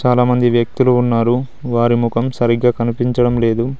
చాలామంది వ్యక్తులు ఉన్నారు వారి ముఖం సరిగ్గా కనిపించడం లేదు.